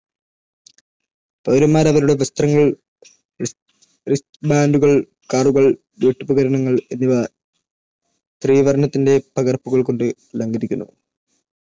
പൗരന്മാർ അവരുടെ വസ്ത്രങ്ങൾ, Ristband കൾ, card കൾ, വീട്ടുപകരണങ്ങൾ എന്നിവ ത്രിവർണ്ണത്തിന്റെ പകർപ്പുകൾ കൊണ്ട് അലങ്കരിക്കുന്നു